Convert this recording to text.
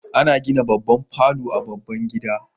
Ana gina babban falo a baban gida